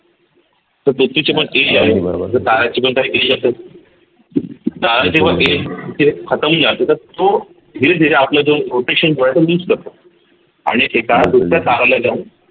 तर व्यक्तीच पण ताराची पण काही age असेल ते खतम होऊन जाते तर तो धीरे धीरे आपल जो जे आहे तो use करतो आणि एका जाऊन